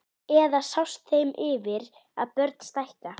Eða sást þeim yfir að börn stækka?